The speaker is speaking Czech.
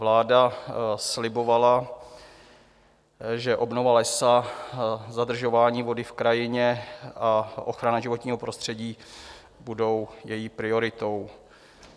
Vláda slibovala, že obnova lesa, zadržování vody v krajině a ochrana životního prostředí budou její prioritou.